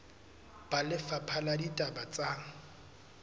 ba lefapha la ditaba tsa